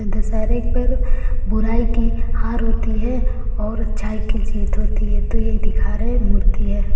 दशहरे पर बुराई की हार होती है और अच्छाई की जीत होती है। तो यही दिखा रहे हैं मूर्ति है।